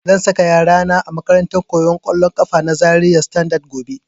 Zan saka yara na a makarantar koyan kollon kafa na Zaria Standard gobe